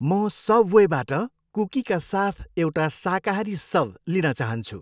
म सबवेबाट कुकीका साथ एउटा शाकाहारी सब लिन चाहन्छु।